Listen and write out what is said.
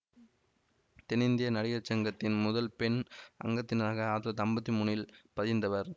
தென்னிந்திய நடிகர் சங்கத்தின் முதல் பெண் அங்கத்தினராக ஆயிரத்தி தொள்ளாயிரத்தி ஐம்பத்தி மூன்னில் பதிந்தவர்